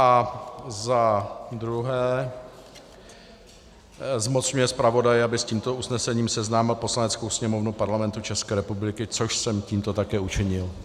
A za druhé, zmocňuje zpravodaje, aby s tímto usnesením seznámil Poslaneckou sněmovnu Parlamentu České republiky, což jsem tímto také učinil.